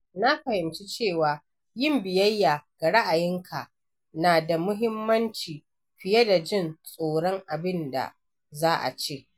Na fahimci cewa yin biyayya ga ra’ayinka na da muhimmanci fiye da jin tsoron abin da za a ce.